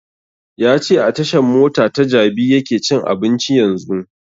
Ya ce a tashan mota ta jabi yake cin abinci yanzun